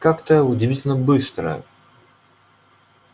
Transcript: как-то удивительно быстро